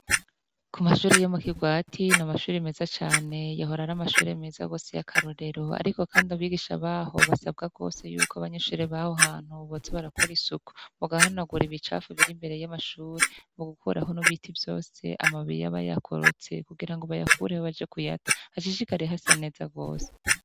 Ku mashuri yo mu Kigwati, ni amashuri meza cane, yahora ar'amashure meza rwose y'akarorero, ariko kandi abigisha baho basabwa rwose yuko abanyeshure baho hantu boza barakora isuku, bagahanagura ibicafu biri imbere y'amashuri mu gukuraho ibiti vyose, amababi aba yakorotse kugira bayakureho baze kuyata, hashishikare hasa neza rwose.